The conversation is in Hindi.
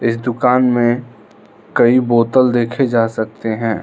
इस दुकान में कई बोतल देखे जा सकते हैं।